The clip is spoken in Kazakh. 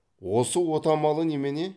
осы отамалы немене